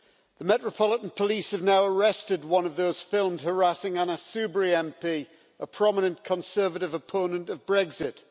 The Metropolitan Police have now arrested one of those filmed harassing Anna Soubry MP, a prominent Conservative opponent of Brexit.